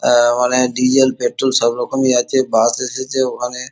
আ মানে diesel petrol সব রকমই আছে বাস এসেছে ওখানে ।